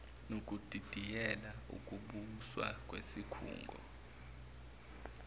nokudidiyela ukubuswa kwesikhungo